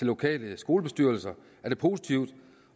lokale skolebestyrelser er det positivt